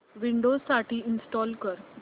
Windows साठी install कर